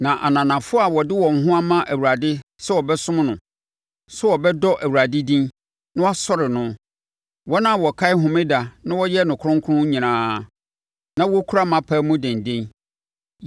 Na ananafoɔ a wɔde wɔn ho ama Awurade sɛ wɔbɛsom no, sɛ wɔbɛdɔ Awurade din, na wɔasɔre no, wɔn a wɔkae Homeda na wɔyɛ no kronkron nyinaa, na wɔkura mʼapam mu denden;